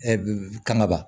ka naba